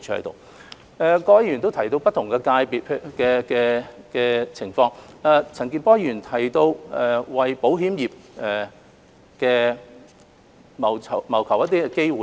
各位議員亦提到不同界別的情況，陳健波議員提到要為保險業謀求機會。